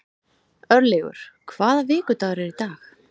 Örlygur, hvaða vikudagur er í dag?